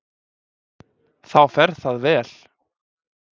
Þá fer það vel.